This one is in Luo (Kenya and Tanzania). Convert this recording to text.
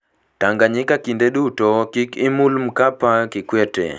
Tanganyika Kinde duto, "Kik imul Mkapa, Kikwete".